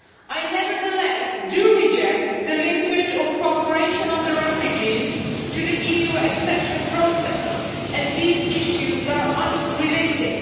I nevertheless do reject the linkage of cooperation on refugees to the EU accession process, as these issues are unrelated.